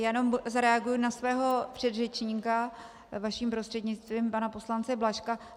Jenom zareaguji na svého předřečníka, vaším prostřednictvím, pana poslance Blažka.